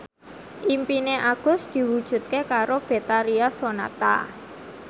impine Agus diwujudke karo Betharia Sonata